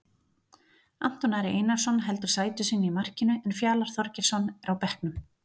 Anton Ari Einarsson heldur sæti sínu í markinu en Fjalar Þorgeirsson er á bekknum.